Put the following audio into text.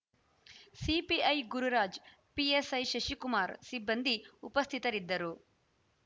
CPI Gururaj PSI Shashikumar ಸಿಬ್ಬಂದಿ ಉಪಸ್ಥಿತರಿದ್ದರು